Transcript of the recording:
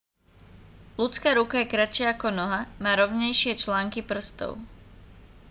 ľudská ruka je kratšia ako noha má rovnejšie články prstov